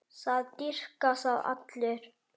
Það dýrka það allir.